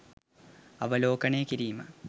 අවලෝකනය කිරීම.